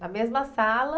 Na mesma sala?